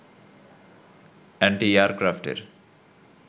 অ্যান্টি-এয়ারক্রাফটের